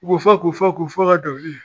U bɛ fɔ k'u fɔ, k'u fɔ fɔ ka dɔnkili